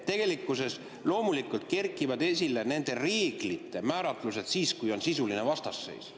Tegelikkuses loomulikult kerkivad nende reeglite määratlused esile siis, kui on sisuline vastasseis.